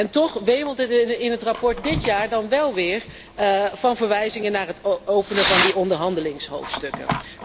En toch wemelt het in het verslag van dit jaar dan wel weer van verwijzingen naar het openen van die onderhandelingshoofdstukken.